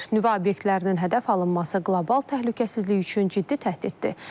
Nüvə obyektlərinin hədəf alınması qlobal təhlükəsizlik üçün ciddi təhdiddir.